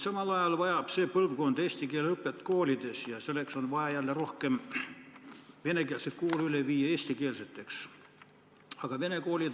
Samal ajal aga vajab see põlvkond eesti keele õpet koolides ja selleks on vaja jälle rohkem venekeelseid koole üle viia eestikeelsele õppele.